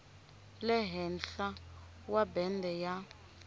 le henhla wa bende ya